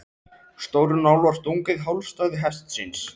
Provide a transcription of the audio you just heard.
Stórri nál var stungið í hálsæð hestsins.